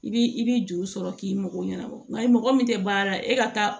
I bi i bi juru sɔrɔ k'i mago ɲɛnabɔ nka i mɔgɔ min tɛ baara la e ka taa